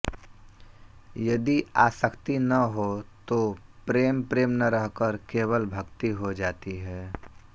यदि आसक्ति न हो तो प्रेम प्रेम न रहकर केवल भक्ति हो जाती है